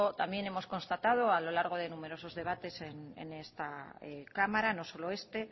también hemos constatado a lo largo de numerosos debates en esta cámara no solo este